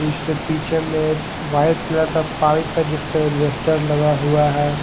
इसके पीछे में एक वाइट कलर का पाइप है जिसमे एक लगा हुआ है।